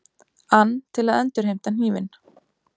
ann til að endurheimta hnífinn.